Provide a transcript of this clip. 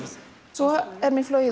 svo er mér flogið